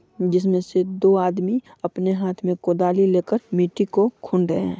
जिसमे से दो आदमी अपने हाथ मे कोदाली ले कर मिट्टी को खुन रहे है।